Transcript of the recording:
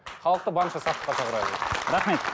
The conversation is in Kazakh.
халықты барынша сақтыққа рахмет